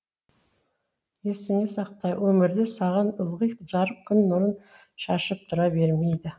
есіңде сақта өмірде саған ылғи жарық күн нұрын шашып тұра бермейді